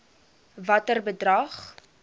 watter bedrag